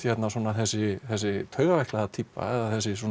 þessi þessi taugaveiklaða týpa eða